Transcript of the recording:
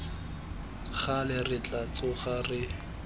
gale re tla tsoga re